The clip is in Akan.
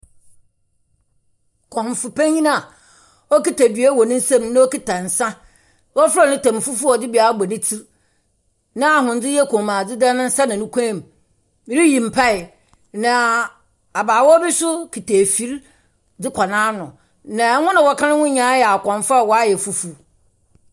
Kɔmfo panyim a okitsa dua wɔ ne nsamu na okitsa nsa, na ofura ne tam fufuw a ɔdze bi abɔ ne tsir, na ahondze yɛ kɔnmuadze da ne nsa na no kɔnmu. Oriyi mpaa, na abaawa bi so kitsa efir dze kɔ n’ano. Na hɔn a wɔka no ho nyina yɛ akɔmfo a wɔayɛ fufuw.